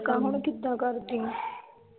ਕੰਮ ਹੁਣ ਕਿਦਾ ਕਰਦੀ ਆ?